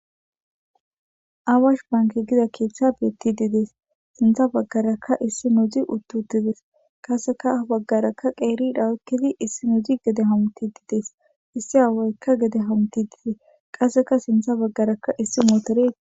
Awash bank Giza kethayi gidayisi betid desi sinthara isonozi uti utidesi ha baggara qerri nayi utidi isinozi gede hamutidi desi issi aawayi gede hamitidi desi qasseka sintha baggara issi motoreyi